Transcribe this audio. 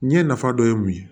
Ɲɛ nafa dɔ ye mun ye